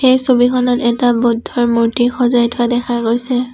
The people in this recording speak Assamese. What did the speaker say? এই ছবিখনত এটা বৌদ্ধৰ মূৰ্তি সজাই থোৱা দেখা গৈছে।